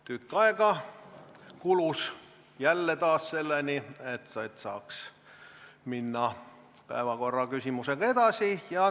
Tükk aega kulus jälle selleni, et saaks minna päevakorraküsimusega edasi.